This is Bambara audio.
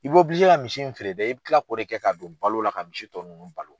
I bɔ ka misi in feere dɛ i bi kila k'o de kɛ ka don balo la ka misi tɔ ninnu balo.